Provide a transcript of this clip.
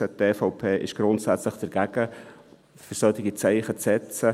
Die EVP ist grundsätzlich dagegen, solche Zeichen zu setzen.